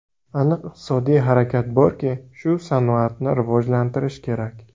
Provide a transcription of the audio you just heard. Aniq iqtisodiy harakat borki, shu sanoatni rivojlantirish kerak”.